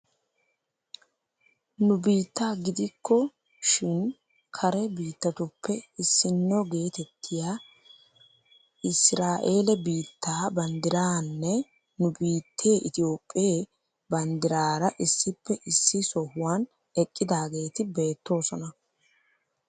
Nu biitta gidiku shin kare biittatuppe issino geetettiyaa israaele biittaa banddiraaranne nu biittee itoophphee banddiraara issippe issi sohuwaan eqqidaageti beettoosona.